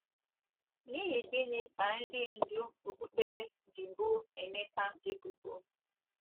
N’ihi gịnị ka ndị ndú okpukpere ji boo Emeka ebubo?